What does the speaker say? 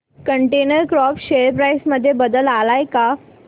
container Corp share price मध्ये बदल आलाय का